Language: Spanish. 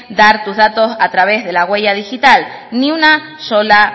dar tus datos a través de la huella digital ni una sola